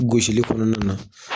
U gosili kɔnɔna na